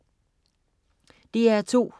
DR2: